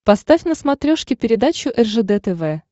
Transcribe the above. поставь на смотрешке передачу ржд тв